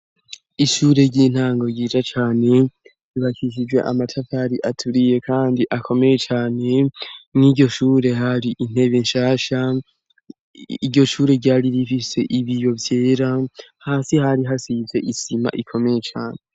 ishure ry'intango ryica cane bahisijwe amatavari aturiye kandi akomeye cane nk'iyo shure hari intebe nshasha iryo shure ryari rifise ibiyo vyera hasi hari hasize isima ikomeye cane.